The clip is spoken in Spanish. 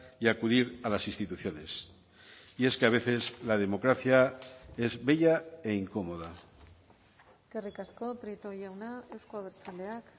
y acudir a las instituciones y es que a veces la democracia es bella e incómoda eskerrik asko prieto jauna euzko abertzaleak